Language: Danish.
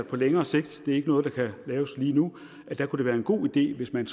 på længere sigt det er ikke noget der kan laves lige nu kunne være en god idé hvis man